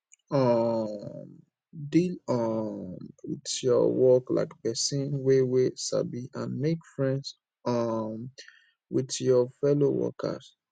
um deal um with your work like person wey wey sabi and make friend um with your fellow workers